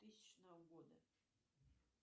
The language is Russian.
тысячного года